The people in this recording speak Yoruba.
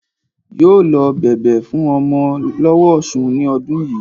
Yóò lot bẹ̀bẹ̀ fún ọmọ lọ́wó ọsun ní ọdún yìí